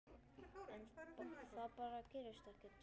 En það bara gerðist ekki.